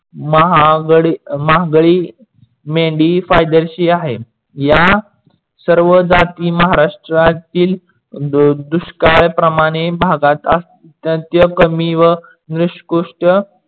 महागडी मेंढी फायदेशीर आहे. या सर्व जाती महाराष्ट्रातील दुष्काळ प्रमाणी भागात अत्यंत कमी व निसकरुष्ट